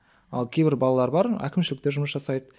ал кейбір балалар бар әкімшілікте жұмыс жасайды